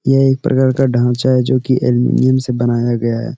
यह एक प्रकार का ढांचा है जोकि एल्युमीनियम से बनाया गया है।